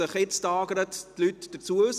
Möchten Sie sich dazu äussern?